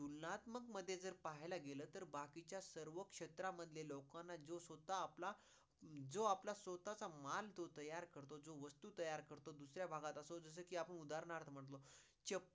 मध्ये जर पाहिला गेलं तर बाकीच्या सर्व क्षेत्रा मधला लोकांना जो स्वतः आपला, जो आपला स्वतःचा मान तो तयार करतो जो वस्तू तयार करतो दुसऱ्या भागात असून जसो कि आपण उदहारण अर्थ म्हणतो